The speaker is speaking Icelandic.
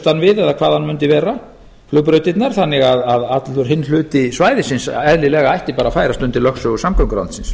það nú mundi vera flugbrautirnar þannig að allur hinn hluti svæðisins eðlilega ætti að færast undir lögsögu samgönguráðuneytisins